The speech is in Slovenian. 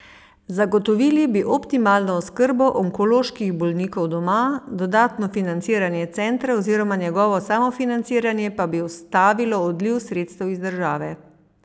Zagotovili bi optimalno oskrbo onkoloških bolnikov doma, dodatno financiranje centra oziroma njegovo samofinanciranje pa bi ustavilo odliv sredstev iz države.